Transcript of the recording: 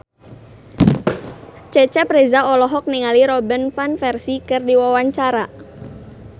Cecep Reza olohok ningali Robin Van Persie keur diwawancara